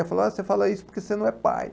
Ela falava, você fala isso porque você não é pai.